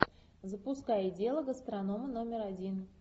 запускай дело гастронома номер один